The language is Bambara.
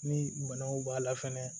Ni banaw b'a la fɛnɛ